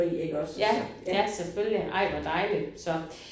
Ja ja selvfølgelig ej hvor dejligt så